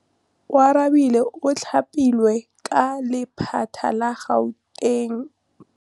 Oarabile o thapilwe ke lephata la Gauteng.